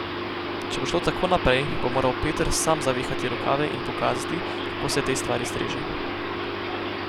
Če bo šlo tako naprej, bo moral Peter sam zavihati rokave in pokazati, kako se tej stvari streže.